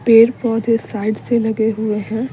पेड़ पौधे साइड से लगे हुए हैं।